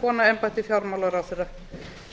kona embætti fjármálaráðherra